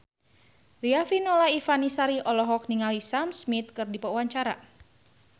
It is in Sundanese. Riafinola Ifani Sari olohok ningali Sam Smith keur diwawancara